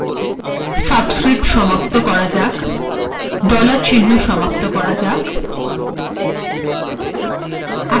এখানে ডলার চিহ্ন দ্বারা কমান্ড সমাপ্ত করা যাক